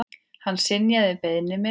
Hann synjaði beiðni minni.